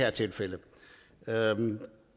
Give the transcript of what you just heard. er tilfældet her